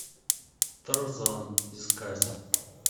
тарзан искать